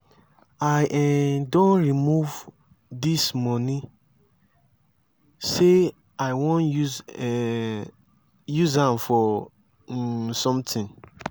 i um don remove dis money say i wan um use am for um something.